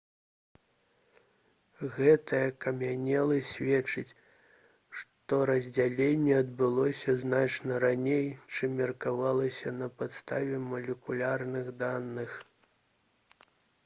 гэтая акамянеласць сведчыць што раздзяленне адбылося значна раней чым меркавалася на падставе малекулярных даных